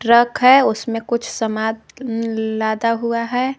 Truck है उसमें कुछ सामान लादा हुआ है।